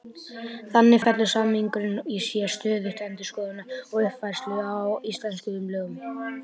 Þannig felur samningurinn í sér stöðuga endurskoðun og uppfærslu á íslenskum lögum.